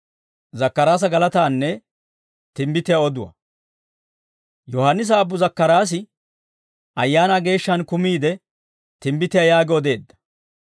Yohaannisa aabbu Zakkaraasi Ayaanaa Geeshshaan kumiide timbbitiyaa yaagi odeedda: